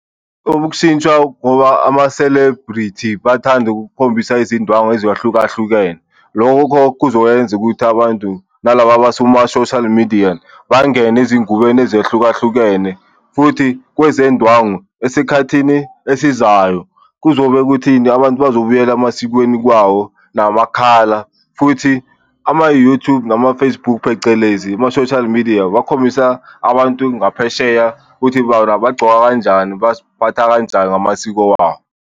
Okushintsha ngoba ama-celebrity bathanda ukukhombisa izindwangu ezahlukahlukene. Lokho kuzokwenza ukuthi abantu nalaba bama kuma-social media bangene ezingubeni ezehlukahlukene, futhi kwezendwangu esikhathini esizayo kuzobe kuthini? Abantu bazobuyela emasikweni kwawo namakhala futhi ama-YouTube nama-Facebook, phecelezi ama-social media bakhombisa abantu ngaphesheya ukuthi bona bagcoka kanjani, baziphatha kanjani ngamasiko wabo.